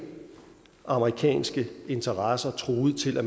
amerikanske interesser truet til at